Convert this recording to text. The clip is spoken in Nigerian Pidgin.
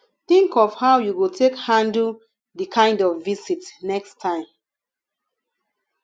think of how you go take handle di kind of visit next time